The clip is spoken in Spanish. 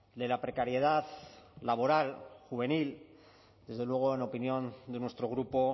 de la precariedad laboral juvenil desde luego en opinión de nuestro grupo